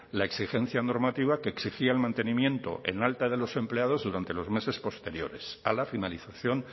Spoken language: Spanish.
la exigencia normativa que exigía el mantenimiento en alta de los empleados durante los meses posteriores a la finalización